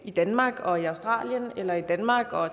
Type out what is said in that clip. i danmark og i australien eller i danmark og